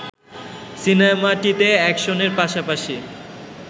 সিনেমাটিতে অ্যাকশনের পাশাপাশি